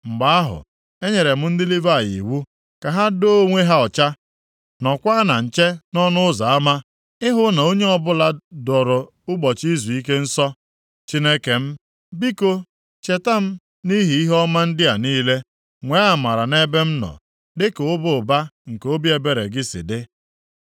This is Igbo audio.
Mgbe ahụ, enyere m ndị Livayị iwu ka ha doo onwe ha ọcha, nọọkwa na nche nʼọnụ ụzọ ama, ịhụ na onye ọbụla doro ụbọchị izuike nsọ. Chineke m, biko, cheta m nʼihi ihe ọma ndị a niile, nwee amara nʼebe m nọ, dịka ịba ụba nke obi ebere gị si dị.